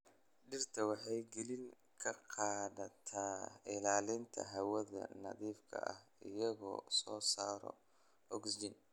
Dhirta waxay kaalin ka qaadataa ilaalinta hawada nadiifka ah iyagoo soo saara ogsijiin.